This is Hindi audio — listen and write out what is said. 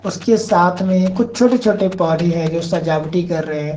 उसके साथ में कुछ छोटे छोटे पौधे हैं जो सजावटी कर रहे हैं।